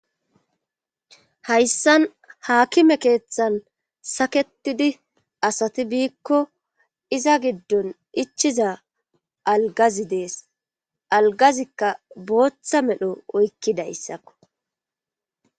hayssan haakime keeththan saketidi asati biikko iza giddon ichiza algazi dees algazikka booththa medho oykkidayssakko